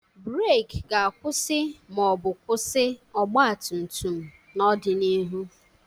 Breeki ga-akwụsị ma ọ bụ kwụsị ọgba tum tum n'ọdịnihu.